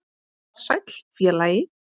Sæll, félagi